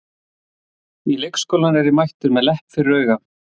Í leikskólann er ég mættur með lepp fyrir auga.